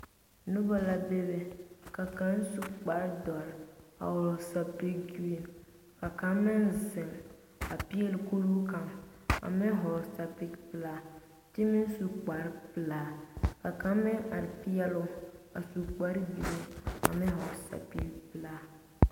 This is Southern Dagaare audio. Noba la bebe ka kaŋa su kpare dɔre a vɔgle sapili gereni ka kaŋ meŋ zeŋ a peɛle kuruu kaŋa a meŋ vɔgle sapili pelaa kyɛ meŋ su kpare pelaa ka kaŋa meŋ are peɛloo su kpare buluu ane sapili pelaa.